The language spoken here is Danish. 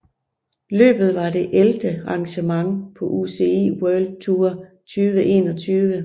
Løbet var det ellevte arrangement på UCI World Tour 2021